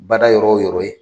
Bada yɔrɔ o yɔrɔ ye.